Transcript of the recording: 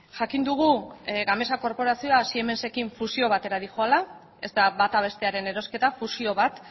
jakin dugu gamesa korporazioa siemensekin fusio batera doala ez da bata bestearen erosketa fusio bat